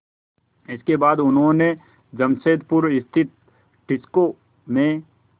इसके बाद उन्होंने जमशेदपुर स्थित टिस्को में